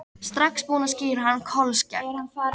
Strax búinn að skíra hann Kolskegg.